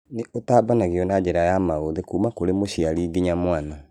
Nĩũtambanagio na njĩra ya maũthĩ kuma kũrĩ mũciari nginya mwana